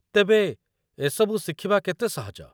ତେବେ, ଏସବୁ ଶିଖିବା କେତେ ସହଜ ?